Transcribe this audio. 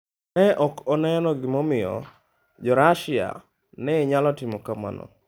Ne ok oneno gimomiyo Jo Russia ne nyalo timo kamano.